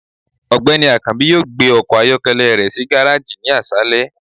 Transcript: ọgbẹni akanbi yọọ gbé ọkọ ayọkẹlẹ rẹ si garejí ni aṣalẹ.